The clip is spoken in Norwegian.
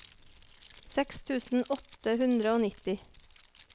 seks tusen åtte hundre og nitti